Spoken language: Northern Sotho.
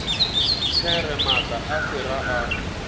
there maatla a sera a